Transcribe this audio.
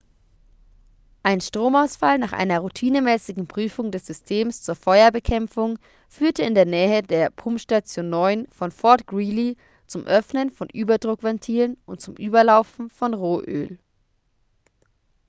ein stromausfall nach einer routinemäßigen prüfung des systems zur feuerbekämpfung führte in der nähe der pumpstation 9 von fort greely zum öffnen von überdruckventilen und zum überlaufen von rohöl